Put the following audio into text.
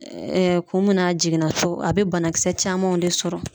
kun mun na a jiginna so ,a be banakisɛ camanw de sɔrɔ.